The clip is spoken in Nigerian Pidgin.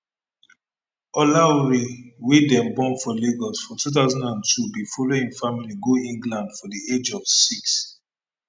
olaore wey dem born for lagos for 2002 bin follow im family go england for di age of six